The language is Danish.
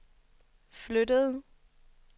flyttede